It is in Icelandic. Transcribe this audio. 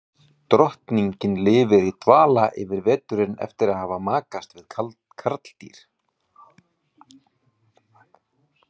Drottningin lifir í dvala yfir veturinn eftir að hafa makast við karldýr.